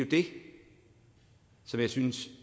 det som jeg synes